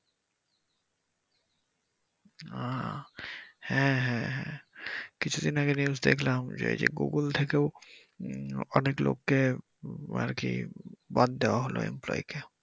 আহ হ্যা হ্যা হ্যা কিছুদিন আগে news দেখলাম যে এই যে Google থেকেও অনেক লোককে আরকি বাদ হলো employee কে